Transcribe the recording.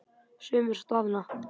Sumir staðna.